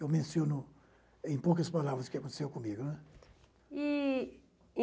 Eu menciono em poucas palavras o que aconteceu comigo, né? E